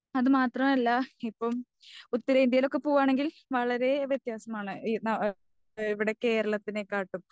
അത് മാത്രമല്ല ഇപ്പം ഉത്തരേന്ത്യയിലൊക്കെ പോകുവാണെങ്കിൽ വളരേ വത്യാസമാണ് ഈ നാ ഇവിടെ കേരളത്തിനേക്കാട്ടും.